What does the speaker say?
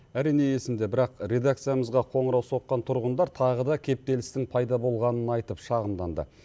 әрине есімде бірақ редакциямызға қоңырау соққан тұрғындар тағы да кептелістің пайда болғанын айтып шағымданды